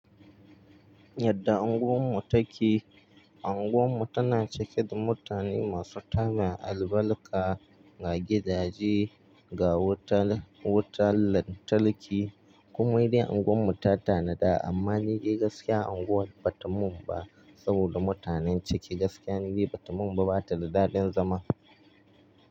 Yadda unguwar mu ta ke, unguwar mu tana cike da mutane masu tarin albarka, ga gidaje, ga wutan lantarki kuma inda unguwar mu ta tanada amma nide gaskiya unguwar ba ta mun ba saboda mutanen ciki gaskiya nide ba ta mun ba, ba ta da daɗin zama.